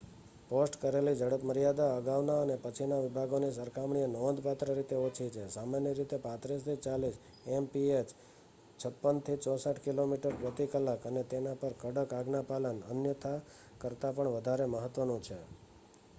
post કરેલી ઝડપમર્યાદા અગાઉના અને પછીના વિભાગોની સરખામણીએ નોંધપાત્ર રીતે ઓછી છે - સામાન્ય રીતે 35-40 એમપીએચ 56-64 કિમી/કલાક અને તેના પર કડક આજ્ઞાપાલન અન્યથા કરતાં પણ વધારે મહત્ત્વનું છે